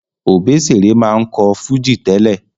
Òbésèré máa ń kọ́ fújì tẹ́lẹ̀